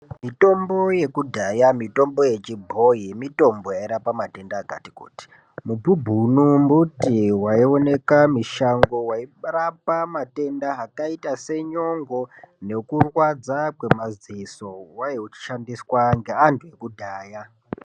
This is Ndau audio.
Mitombo yekudhaya mitombo yechibhoyi mitombo yairapa matenda akati kuti. Mubhubhunu mbuti waioneka mishango wairapa matenda akaita senyongo nekurwadza kwemaziso. Waishandiswa negvantu ekudhaya.